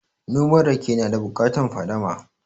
Noma rake na da bukatan fadama